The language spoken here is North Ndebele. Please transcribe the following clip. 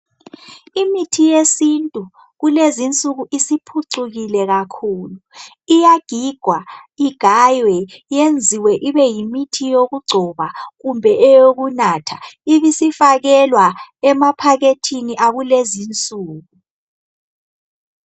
Imithi yesintu kulezi nsuku isiphucukile kakhulu. Iyagigwa, igaywe, iyenziwe ibe yimithi yokugcoba kumbe eyokunatha, ibisifakelwa emaphakethini akulezi nsuku.